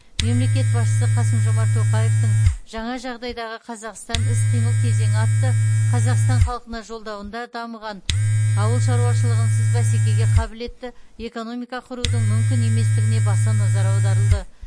мемлекет басшысы қасым жомарт тоқаевтың жаңа жағдайдағы қазақстан іс қимыл кезеңі атты қазақстан халқына жолдауында дамыған ауыл шаруашылығынсыз бәсекеге қабілетті экономика құрудың мүмкін еместігіне баса назар аударылды